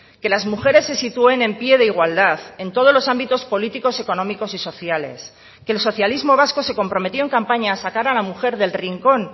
que las mujeres se sitúen en pie de igualdad en todos los ámbitos políticos económicos y sociales que el socialismo vasco se comprometió en campaña a sacar a la mujer del rincón